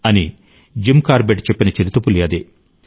అని Jim Corbett చెప్పిన చిరుతపులి అదే